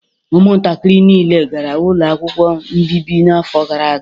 Ụmụntakịrị niile gara ụlọ akwụkwọ mbibi n'afọ gara aga